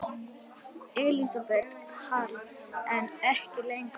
Elísabet Hall: En ekki lengur?